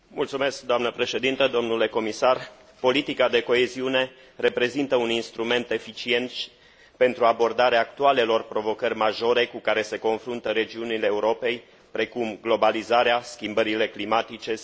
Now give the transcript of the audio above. Politica de coeziune reprezintă un instrument eficient pentru abordarea actualelor provocări majore cu care se confruntă regiunile Europei, precum globalizarea, schimbările climatice sau tendințele demografice.